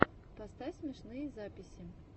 поставь смешные записи